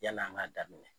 Yan'an ŋ'a daminɛ